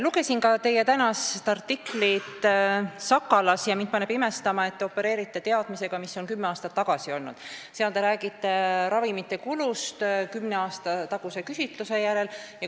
Lugesin ka teie tänast artiklit Sakalas ja mind paneb imestama, et te opereerite teadmisega, mis on olnud kümme aastat tagasi, te räägite ravimite kulust kümne aasta taguse küsitluse järgi.